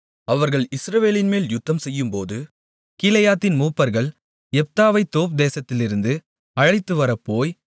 அவர்கள் இஸ்ரவேலின்மேல் யுத்தம்செய்யும்போது கீலேயாத்தின் மூப்பர்கள் யெப்தாவைத் தோப் தேசத்திலிருந்து அழைத்துவரப்போய்